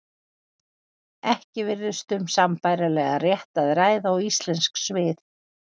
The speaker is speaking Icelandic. Ekki virðist um sambærilegan rétt að ræða og íslensk svið.